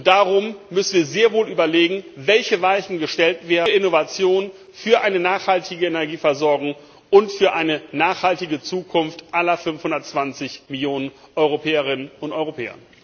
Darum müssen wir sehr wohl überlegen, welche Weichen für Innovation, für eine nachhaltige Energieversorgung und für eine nachhaltige Zukunft aller 520 Millionen Europäerinnen und Europäer gestellt werden.